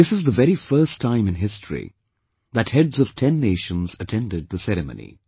This is the very first time in history that heads of 10 Nations attended the ceremony